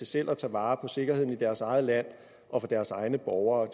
selv at tage vare på sikkerheden i deres eget land og for deres egne borgere